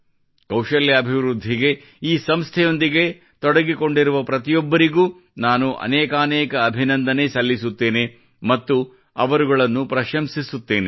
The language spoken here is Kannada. ಕೌಶಲ್ಯಾಭಿವೃದ್ಧಿಗಾಗಿ ಈ ಸಂಸ್ಥೆಯೊಂದಿಗೆ ತೊಡಗಿಕೊಂಡಿರುವ ಪ್ರತಿಯೊಬ್ಬರಿಗೂ ನಾನು ಅನೇಕಾನೇಕ ಅಭಿನಂದನೆ ಸಲ್ಲಿಸಲುತ್ತೇನೆ ಮತ್ತು ಅವರುಗಳನ್ನು ಪ್ರಶಂಸಿಸುತ್ತೇನೆ